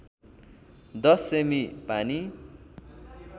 १० सेमि पानी